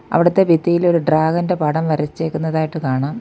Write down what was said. അവിടത്തെ ഭിത്തിയിൽ ഒരു ഡ്രാഗൻ്റെ പടം വരച്ചേക്കുന്നതായിട്ട് കാണാം.